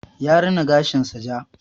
Ya rina gashin sa ja.